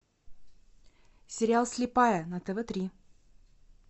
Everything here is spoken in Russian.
сериал слепая на тв три